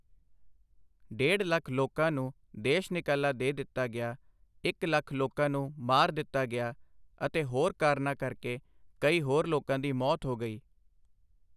ਡੇਢ ਲੱਖ ਲੋਕਾਂ ਨੂੰ ਦੇਸ਼ ਨਿਕਾਲਾ ਦੇ ਦਿੱਤਾ ਗਿਆ, ਇੱਕ ਲੱਖ ਲੋਕਾਂ ਨੂੰ ਮਾਰ ਦਿੱਤਾ ਗਿਆ ਅਤੇ ਹੋਰ ਕਾਰਨਾਂ ਕਰਕੇ ਕਈ ਹੋਰ ਲੋਕਾਂ ਦੀ ਮੌਤ ਹੋ ਗਈ।